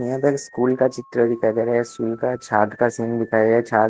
यहाँ पर स्कूल का चित्र दिखाई दे रहा है स्कूल का छात का सीन दिखाई दे रहा छात --